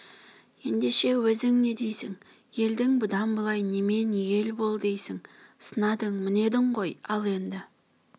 ендеше өзің не дейсің елді бұдан бұлай немен ел бол дейсің сынадың мінедің ғой ал енді